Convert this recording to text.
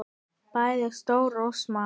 Bæði stóra og smáa.